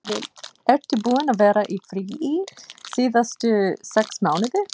Ertu búinn að vera í fríi síðustu sex mánuði?